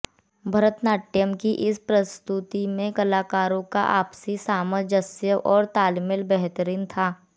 भरतनाट्यम की इस प्रस्तुति में कलाकारों का आपसी सामंजस्य और तालमेल बेहतरीन था